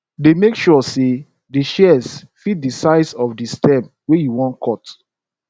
dey make sure say di shears fit di size of di stem wey you wan cut